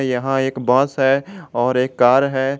यहां एक बस है और एक कार है।